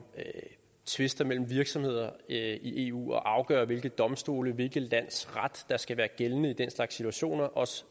tvister mellem virksomheder i eu og at afgøre hvilke domstole og hvilket lands ret der skal være gældende i den slags situationer også